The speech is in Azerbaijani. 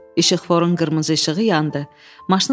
İşqforun qırmızı işığı yandı.